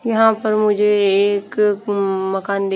यहां पर मुझे एक मं मकान दि--